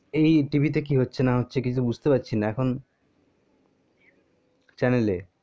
এই tv তে কি হচ্ছে না হচ্ছে কিছু তো বুজতে পারছি না এখন channel এ